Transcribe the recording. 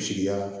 Sigida